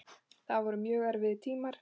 Þetta voru mjög erfiðir tímar.